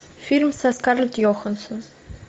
фильм со скарлетт йоханссон